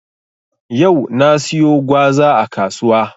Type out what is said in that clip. Yau na siyo gwaza a kasuwa.